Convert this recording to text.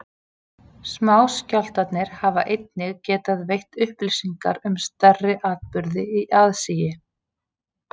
Smáskjálftarnir hafa einnig getað veitt upplýsingar um stærri atburði í aðsigi.